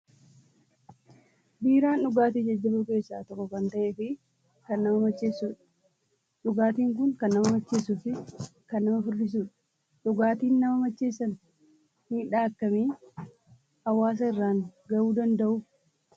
Biiraan dhugaatii jajjaboo keessaa tokko kan ta'ee fi kan nama macheessudha. Dhugaatiin kun kan nama macheessuu fi kan nama furdisu dha. Dhugaatiin nama nmacheessan miidhaa akkamii hawaasaa irraan gahuu danda'u?